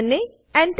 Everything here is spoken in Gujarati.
અને Enter